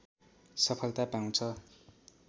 सफलता पाउँछ